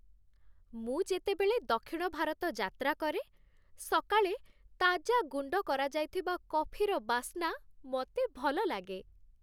ମୁଁ ଯେତେବେଳେ ଦକ୍ଷିଣ ଭାରତ ଯାତ୍ରା କରେ, ସକାଳେ ତାଜା ଗୁଣ୍ଡକରାଯାଇଥିବା କଫିର ବାସ୍ନା ମୋତେ ଭଲ ଲାଗେ।